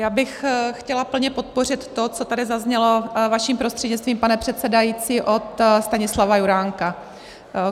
Já bych chtěla plně podpořit to, co tady zaznělo vaším prostřednictvím, pane předsedající, od Stanislava Juránka.